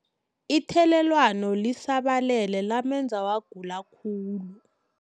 Ithelelwano lisabalele lamenza wagula khulu.